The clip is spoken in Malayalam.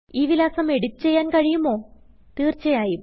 ഈ വിലാസം എഡിറ്റ് ചെയ്യാൻ കഴിയുമോ160തീർച്ചയായും